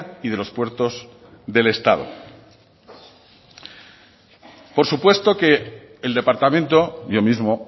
y de los puertos del estado por supuesto que el departamento yo mismo